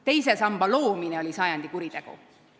Teise samba loomine oli sajandi kuritegu.